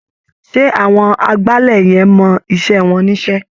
Ṣé àwọn agbálẹ̀ yẹn mọ iṣẹ́ wọn níṣẹ́?